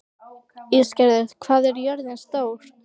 Ísgerður, hvað er jörðin stór?